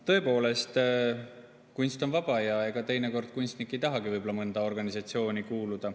Tõepoolest, kunst on vaba ja teinekord kunstnik ei tahagi võib-olla mõnda organisatsiooni kuuluda.